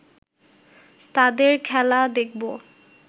তাদের খেলা দেখবো